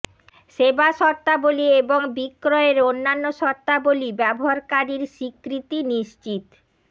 সেবা শর্তাবলী এবং বিক্রয়ের অন্যান্য শর্তাবলী ব্যবহারকারীর স্বীকৃতি নিশ্চিত